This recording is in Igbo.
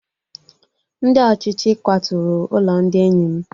Ndị ọchịchị kwaturu ụlọ ndị enyi m